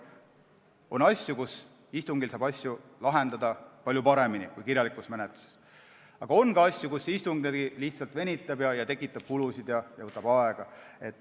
On asju, mida istungil saab lahendada palju paremini kui kirjalikus menetluses, aga on ka asju, mida istung lihtsalt venitab, istung tekitab kulusid ja võtab aega.